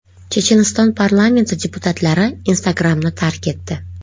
Checheniston parlamenti deputatlari Instagram’ni tark etdi.